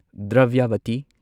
Dravyavati